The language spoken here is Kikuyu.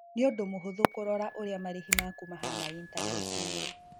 Nĩ ũndũ mũhũthũ kũrora ũrĩa marĩhi maku mahana intaneti-inĩ.